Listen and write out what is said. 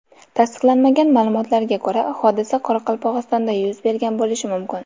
Tasdiqlanmagan ma’lumotlarga ko‘ra, hodisa Qoraqalpog‘istonda yuz bergan bo‘lishi mumkin.